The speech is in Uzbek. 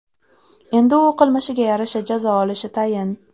Endi u qilmishiga yarasha jazo olishi tayin.